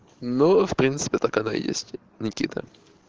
ну в принципе так оно и есть никита